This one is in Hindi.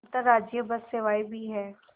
अंतर्राज्यीय बस सेवाएँ भी हैं